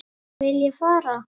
Vil ég fara?